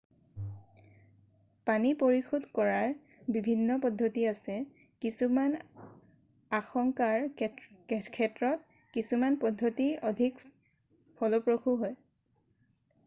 পানী পৰিশোধ কৰাৰ বিভিন্ন পদ্ধতি আছে কিছুমান আশংকাৰ ক্ষেত্ৰত কিছুমান পদ্ধতি অধিক ফলপ্ৰসূ হয়